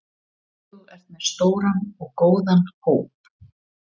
Þú ert með stóran og góðan hóp?